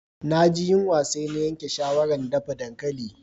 Na ji yunwa sai na yanke shawaran dafa dankali.